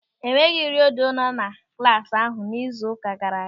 E nweghị redio nọ na klasị ahụ n'izu ụka gaara aga.